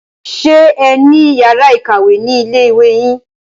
Ṣé ẹ ní yàrá ìkàwé ni ilé ìwé yín?